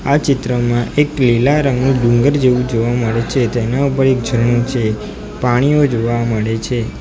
આ ચિત્રમાં એક લીલા રંગનું ડુંગર જેવું જોવા મળે છે તેના ઉપર એક ઝરણું છે પાણીઓ જોવા મળે છે.